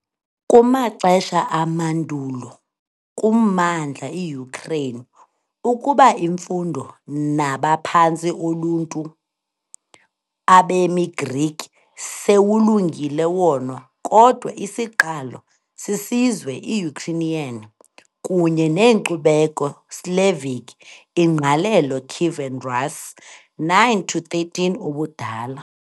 Kumaxesha amandulo kummandla iUkraine ukuba imfundo nabaphantsi oluntu, abemi Greek sewulungile wona, kodwa isiqalo sisizwe iUkrainian kunye neenkcubeko Slavic ingqalelo Kievan Rus 9-13 ubudala.